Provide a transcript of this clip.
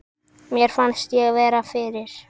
Mér fannst ég vera fyrir.